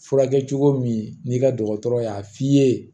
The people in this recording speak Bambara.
Furakɛ cogo min n'i ka dɔgɔtɔrɔ y'a f'i ye